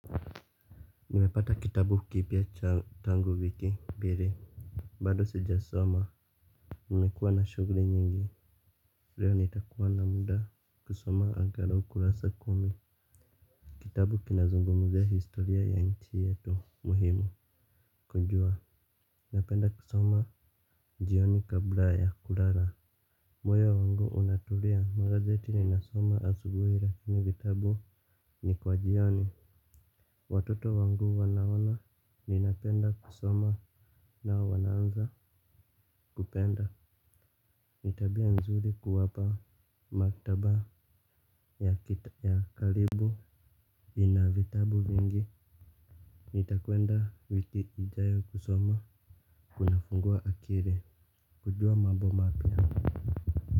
Nimepata kitabu kipya cha tangu wiki mbili. Bado sijasoma. Nimekuwa na shughuli nyingi leo nitakuwa na muda kusoma angalau kurasa kumi. Kitabu kinazungumzia historia ya nchi yetu muhimu Kujua. Napenda kusoma jioni kabla ya kulala. Moyo wangu unatulia magazeti ninasoma asubuhi lakini vitabu ni kwa jioni. Watoto wangu wanaona ninapenda kusoma na wanaanza kupenda. Ni tabia nzuri kuwapa maktaba ya karibu ina vitabu vingi. Nitakwenda wiki ijayo kusoma kunafungua akili. Kujua mambo mapya.